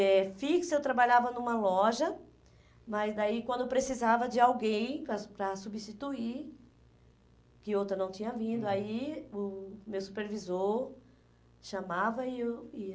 É, fixo eu trabalhava numa loja, mas daí quando precisava de alguém para para substituir, que outra não tinha vindo, aí o meu supervisor chamava e eu e